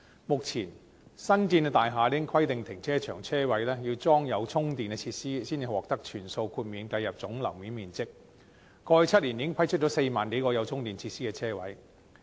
目前，新建大廈已規定停車場車位要安裝充電設施，才能獲得全數豁免計入總樓面面積，過去7年已批出4萬多個有充電設施的車位。